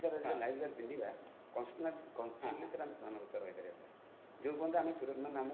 sir ଜୋ live jacket ପିନ୍ଧିବା constantly ରହି ପାରିବା sir ଜୋ ପର୍ଯ୍ୟନ୍ତ ଆମେ ସୁରକ୍ଷିତ